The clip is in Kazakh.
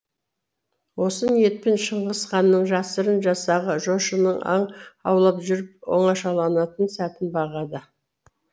осы ниетпен шыңғыс ханның жасырын жасағы жошының аң аулап жүріп оңашаланатын сәтін бағады